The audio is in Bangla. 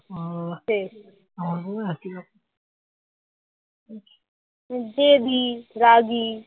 জেদি রাগী